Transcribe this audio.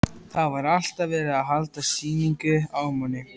Það var alltaf verið að halda sýningu á manni.